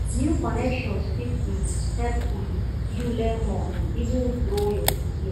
new connections fit um help um you learn more and even grow your career